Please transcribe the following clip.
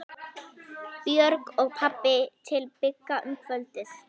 Björg og pabbi til Bigga um kvöldið.